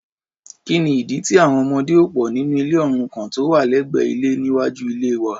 kíni ìdí tí àwọn ọmọdé ò pò nínú ilé òrukàn tó wà lẹ́gbẹ́ ilé níwájú ilée wa?